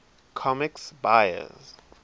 comics buyer s